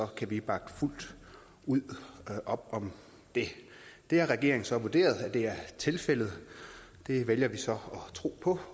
kan vi bakke fuldt ud op om det det har regeringen så vurderet er tilfældet det vælger vi så at tro på